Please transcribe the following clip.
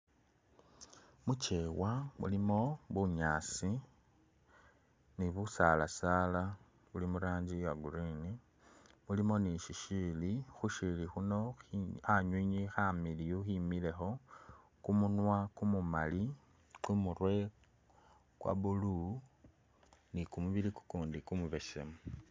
Muchewa mulimo bunyaasi ni busalasala buli muranjii Iyaa green mulimo ni shisiili khushili shino khanywinywi khamiliyu khemilekho, kumunywa kumumali, kumurwe kwa blue nii kumubili kukundi kumubesemu